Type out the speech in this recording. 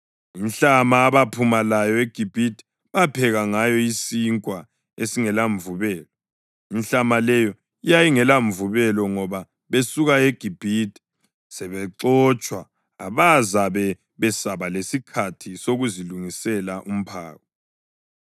Inhlama abaphuma layo eGibhithe bapheka ngayo isinkwa esingelamvubelo. Inhlama leyo yayingelamvubelo ngoba basuka eGibhithe sebexotshwa abazabe besaba lesikhathi sokuzilungisela umphako.